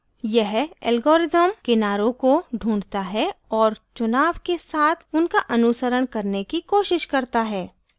यह algorithm किनारों को ढूँढता है और चुनाव के साथ उनका अनुसरण करने की कोशिश करता है